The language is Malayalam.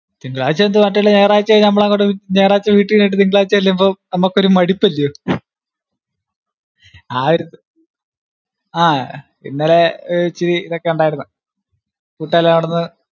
തിങ്കളാഴ്ച എന്തുവാ, മറ്റുള്ള ഞായറാഴ്ച കഴിഞ് അങ്ങൊട്ട്, ഞായറാഴ്ച വീട്ടിൽ ഇരുന്നിട്ട് തിങ്കളാഴ്ച ചെല്ലുമ്പോ നമുക്കൊരു മടുപ്പ് അല്ലയോ ആഹ് ഒരു ആഹ് ഇന്നലെ ഇച്ചിരി ഇതൊക്കെ ഉണ്ടായിരുന്നു. മുട്ടേൽ നടന്ന്